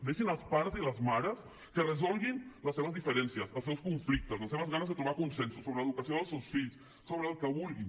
deixin els pares i les mares que resolguin les seves diferències els seus conflictes les seves ganes de trobar consensos sobre l’educació dels seus fills sobre el que vulguin